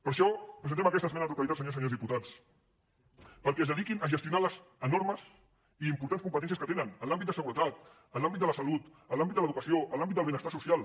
per això presentem aquesta esmena a la totalitat senyors i senyores diputats perquè es dediquin a gestionar les enormes i importants competències que tenen en l’àmbit de seguretat en l’àmbit de la salut en l’àmbit de l’educació en l’àmbit del benestar social